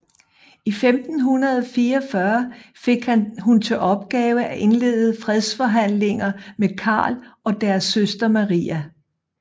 I 1544 fik hun til opgave at indlede fredsforhandlinger med Karl og deres søster Maria